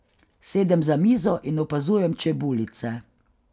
Sedem za mizo in opazujem čebulice.